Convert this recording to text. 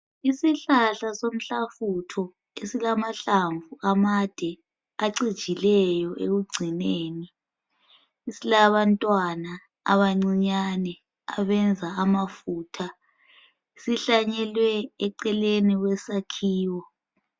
Isihlahla somhlafutho esilamahlamvu amade, acijileyo ekugcineni. Silabantwana abancinyane, abenza amafutha. Sihlanyelwe eceleni kwesakhiwo.